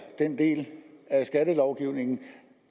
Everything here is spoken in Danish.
den del af skattelovgivningen